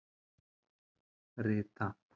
Rita